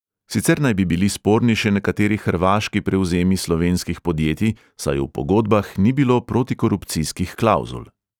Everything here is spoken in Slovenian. Sicer naj bi bili sporni še nekateri hrvaški prevzemi slovenskih podjetij, saj v pogodbah ni bilo protikorupcijskih klavzul.